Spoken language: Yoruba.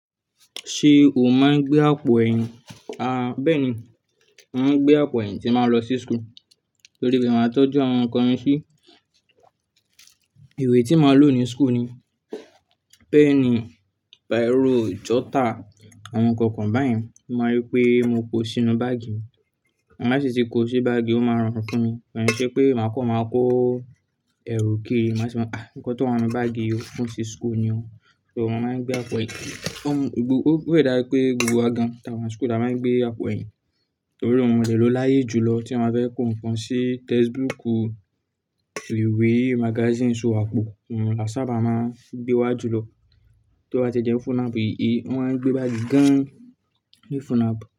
Ṣé o máa ń gbé àpò ẹ̀yìn? A, bẹ́ẹ̀ni, mo màá ń gbé àpò ẹ̀yìn tí n ba lọ sí school nítorí pé màá tọ́jú àwọn nǹkan mi sí. Ìwé tí màá lò ní school ni pẹ́ẹ̀nì, bírò, jọ́tà, àwọn nǹkan kan báyìí. Mo mọ̀ pé mo kó sínú báàgì mi. Máa ṣèṣì kó sí báàgì, ó máa rọrùn fún mi. Bẹ́ẹ̀ ni ṣé pé màá kọ́, màá kó ẹrù kééré, màá sọ pé, àá, nǹkan tó wà nínú báàgì yìí ó fún sí school ni o. So màá ń gbé àpò ẹ̀yìn. Wọ́n ń gbò ó pẹ́ dà pé gbogbo wa gan táa wà sí school táa máa ń gbé àpò ẹ̀yìn nítorí ohun ìrẹ̀ lo láyé julọ tí a máa fẹ́ kó nǹkan sí textbookù, ìwé, magazines o àpò, àwọn láṣaba máa ń gbé wá julọ. Tí ó bá ti jẹ́ fúnnàbí yí, wọ́n máa ń gbé báàgì gan tí fúnnàb.